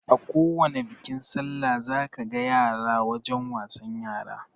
Akowani bikin sallah za ka ga yara wajen wasan yara